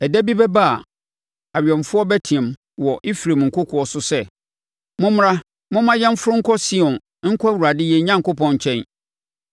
Ɛda bi bɛba a, awɛmfoɔ bɛteam wɔ Efraim nkokoɔ so sɛ, ‘Mommra momma yɛnforo nkɔ Sion nkɔ Awurade yɛn Onyankopɔn nkyɛn.’ ”